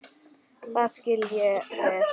Það skil ég vel!